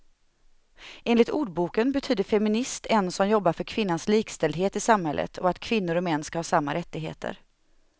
Enligt ordboken betyder feminist en som jobbar för kvinnans likställdhet i samhället och att kvinnor och män ska ha samma rättigheter.